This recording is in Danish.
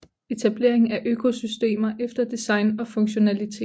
Etableringen af økosystemer efter design og funktionalitet